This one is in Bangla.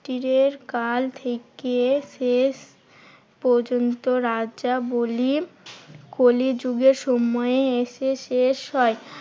এর কাল থেকে শেষ পর্যন্ত রাজবলির কলিযুগের সময় এসে শেষ হয়।